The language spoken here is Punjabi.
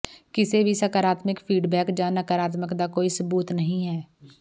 ਕਿਸੇ ਵੀ ਸਕਰਾਤਮਿਕ ਫੀਡਬੈਕ ਜ ਨਕਾਰਾਤਮਕ ਦਾ ਕੋਈ ਸਬੂਤ ਨਹੀ ਹੈ